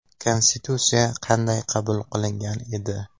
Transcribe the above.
Konstitutsiya qanday qabul qilingan edi?